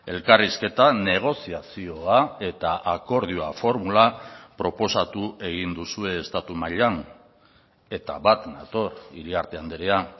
elkarrizketan negoziazioa eta akordioa formula proposatu egin duzue estatu mailan eta bat nator iriarte andrea